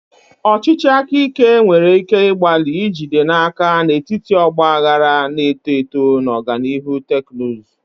Ọchịchị aka ike nwere ike ịgbalị ijide n'aka n'etiti ọgba aghara na-eto eto na ọganihu teknụzụ.